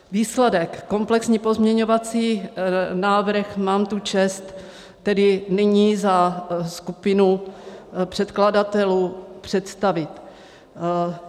Výsledek, komplexní pozměňovací návrh mám tu čest tedy nyní za skupinu předkladatelů představit.